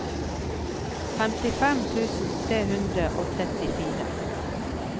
femtifem tusen tre hundre og trettifire